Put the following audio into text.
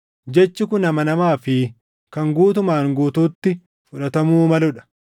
Jechi kun amanamaa fi kan guutumaan guutuutti fudhatamuu maluu dha.